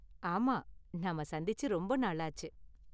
ஆமாம், நாம சந்திச்சு ரொம்ப நாளாச்சு.